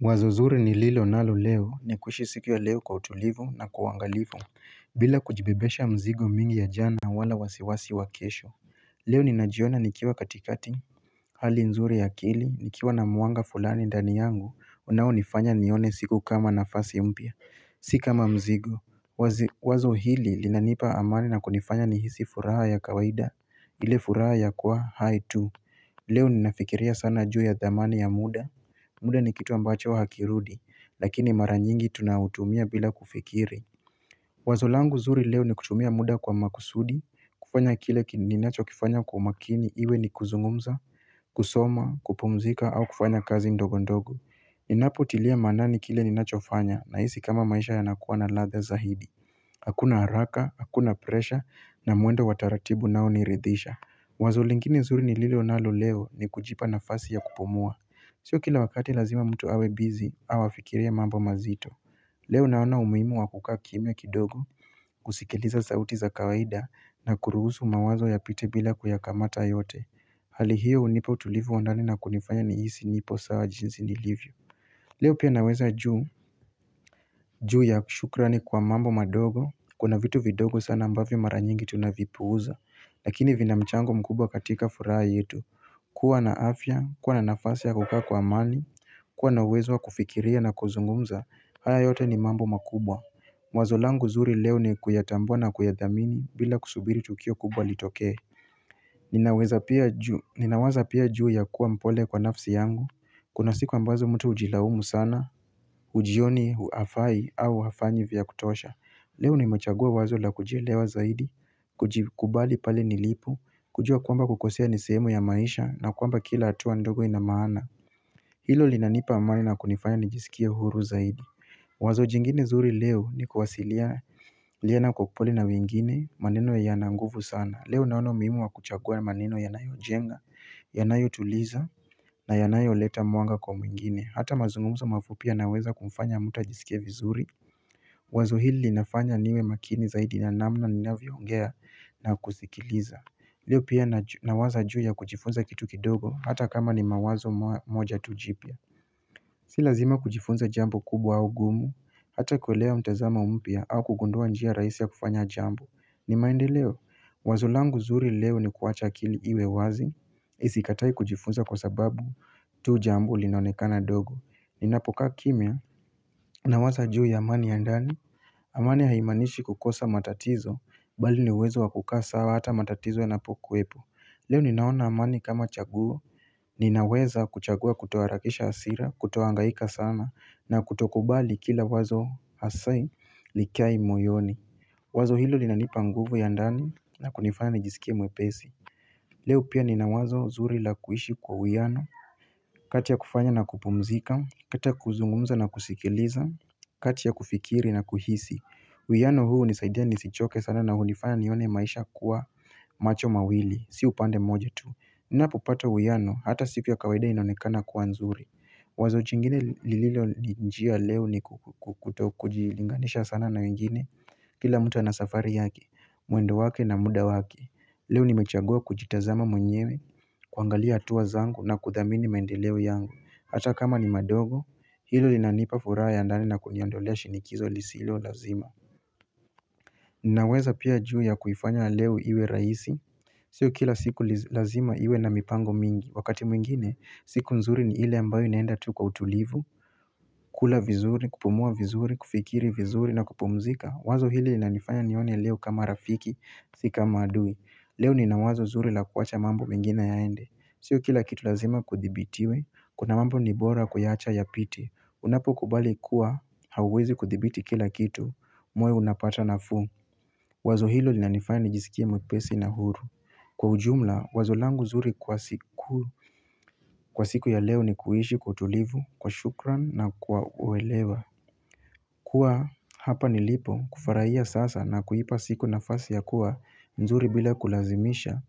Wazo zuri nililo nalo leo Nikuishi siku ya leo kwa utulivu na kwa ungalivu bila kujibebesha mzigo mingi ya jana na wala wasiwasi wa kesho Leo ninajiona nikiwa katikati Hali nzuri ya akili nikiwa na mwanga fulani ndani yangu unaonifanya nione siku kama nafasi mpya Si kama mzigo Wazo hili linanipa amani na kunifanya nihisi furaha ya kawaida ile furaha ya kuwa hai tu Leo ninafikiria sana juu ya dhamani ya muda muda ni kitu ambacho hakirudi, lakini mara nyingi tunautumia bila kufikiri Wazo langu zuri leo ni kutumia muda kwa makusudi, kufanya kile ninachokifanya kwa umakini iwe ni kuzungumza, kusoma, kupumzika au kufanya kazi ndogo ndogo Ninapotilia maanani kile ninachofanya nahisi kama maisha yanakuwa na ladha zaidi Hakuna haraka, hakuna presha na mwendo wa taratibu unaoniridhisha Wazo lingine zuri nililo nalo leo ni kujipa nafasi ya kupumua Sio kila wakati lazima mtu awe bizi au afikirie mambo mazito Leo naona umuhimu wa kukaa kimya kidogo husikiliza sauti za kawaida na kuruhusu mawazo yapite bila kuyakamata yote Hali hio hunipa tulivu wandani na kunifanya nihisi nipo sawa jinsi nilivyo Leo pia naweza juu juu ya shukrani kwa mambo madogo Kuna vitu vidogo sana ambavyo mara nyingi tunavipuuza Lakini vinamchango mkubwa katika furaha yetu kuwa na afya, kuwa na nafasi ya kukaa kwa amani kuwa na uwezo wa kufikiria na kuzungumza, haya yote ni mambo makubwa wazo langu zuri leo ni kuyatambua na kuyathamini bila kusubiri tukio kubwa litokee Ninawaza pia juu ya kuwa mpole kwa nafsi yangu Kuna siku ambazo mtu hujilaumu sana, hujioni hafai au hafanyi vya kutosha Leo nimechagua wazo la kujielewa zaidi, kujikubali pale nilipo, kujua kwamba kukosea ni sehemu ya maisha na kwamba kila hatua ndogo ina maana Hilo linanipa amani na kunifanya nijisikie huru zaidi Wazo jingine zuri leo ni kuwasilia liena kukupoli na wengine maneno yana nguvu sana Leo naona umuhimu wa kuchagua maneno yanwayojenga, yanayotuliza na yanayoleta mwanga kwa mwingine Hata mazungumzo mafupia yanaweza kumfanya muta ajisikie vizuri Wazo hili linafanya niwe makini zaidi ya namna ninavyoongea na kusikiliza Leo pia nawaza juu ya kujifunza kitu kidogo hata kama ni mawazo moja tu jipya Si lazima kujifunza jambo kubwa au gumu, hata kuelewa mtazamo mpya au kugundua njia rahisi ya kufanya jambo, ni maendeleo, wazo langu zuri leo ni kuacha akili iwe wazi, isikatae kujifunza kwa sababu tu jambo linaonekana dogo, ninapokaa kimya Nawaza juu ya amani ya ndani amani haimanishi kukosa matatizo Bali ni uwezo wa kukaa sawa hata matatizo yanapokuwepo Leo ninaona amani kama chaguo Ninaweza kuchagua kutoharakisha hasira Kutohangaika sana na kutokubali kila wazo asai Likae moyoni Wazo hilo linanipa nguvu ya ndani na kunifanya nijisikia mwepesi Leo pia nina wazo zuri la kuishi kwa uwiano kati ya kufanya na kupumzika kati ya kuzungumza na kusikiliza kati ya kufikiri na kuhisi uwiano hunisaidia nisichoke sana na hunifanya nione maisha kuwa macho mawili Si upande moja tu Ninapopata uwiano hata siku ya kawaida inaonekana kuwa nzuri Wazo chingine lililonijia leo ni kutokujilinganisha sana na wengine Kila mtu ana safari yake, mwendo wake na muda wake Leo nimechagua kujitazama mwenyewe, kuangalia hatua zangu na kuthamini mendeleo yangu Hata kama ni madogo, hilo linanipa furaha ya ndani na kuniandolea shinikizo lisilo lazima Ninaweza pia juu ya kuifanya ya leo iwe raisi Sio kila siku lazima iwe na mipango mingi, wakati mwingine, siku nzuri ni ile ambayo inaenda tu kwa utulivu kula vizuri, kupumua vizuri, kufikiri vizuri na kupumzika, wazo hili linanifanya nione leo kama rafiki, si kama adui Leo nina wazo zuri la kuacha mambo mingine yaende Sio kila kitu lazima kuthibitiwe, kuna mambo ni bora kuyaacha yapite Unapokubali kuwa, hauwezi kuthibiti kila kitu, moyo unapata nafuu Wazo hilo linanifaya nijisikie mwepesi na huru Kwa ujumla, wazo langu zuri kwa siku ya leo ni kuishi kwa tulivu, kwa shukrani na kwa uelewa kuwa, hapa nilipo, kufurahia sasa na kuipa siku nafasi ya kuwa, nzuri bila kulazimisha